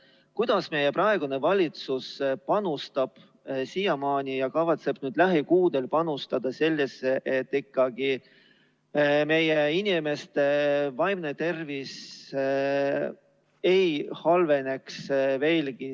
Kuidas meie praegune valitsus panustab siiamaani ja kavatseb nüüd lähikuudel panustada sellesse, et meie inimeste vaimne tervis veelgi ei halveneks?